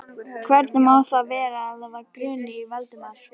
Hvernig má þá vera, að þá gruni Valdimar?